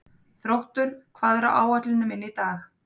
Þróttur, hvað er á áætluninni minni í dag?